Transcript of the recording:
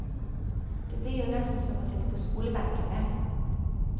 Det blir jo nesten som å sitte på skolebenken, det.